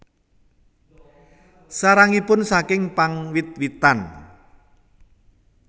Sarangipun saking pang wit witan